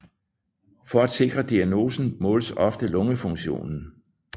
For at sikre diagnosen måles ofte lungefunktionen